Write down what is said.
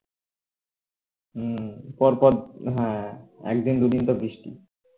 হম পরপর হম একদিন দুইদিন তো বৃষ্টি